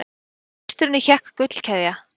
Á ístrunni hékk gullkeðja.